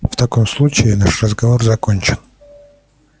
в таком случае наш разговор закончен